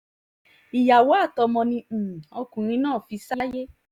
ìyàwó àtọmọ ni um ọkùnrin náà fi sáyé